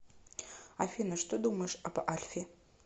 афина что думаешь об альфе